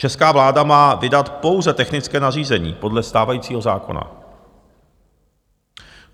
Česká vláda má vydat pouze technické nařízení podle stávajícího zákona.